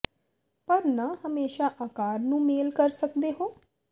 ਪਰ ਨਾ ਹਮੇਸ਼ਾ ਆਕਾਰ ਨੂੰ ਮੇਲ ਕਰ ਸਕਦੇ ਹੋ